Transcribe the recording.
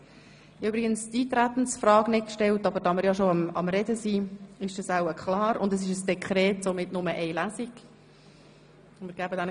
Ich habe übrigens die Eintretensfrage nicht gestellt, aber da wir bereits darüber sprechen, dürfte diese geklärt sein.